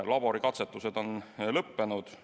Laborikatsetused on lõppenud.